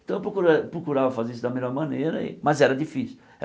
Então eu procura procurava fazer isso da melhor maneira, mas era difícil.